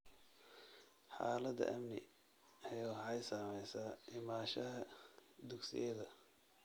Xaaladda amni ee waxay saamaysaa imaanshaha dugsiyada.